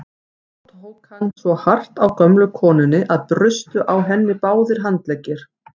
Þá tók hann svo hart á gömlu konunni að brustu á henni báðir handleggir.